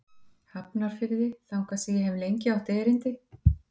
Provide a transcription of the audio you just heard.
Hafnarfirði, þangað sem ég hef lengi átt erindi.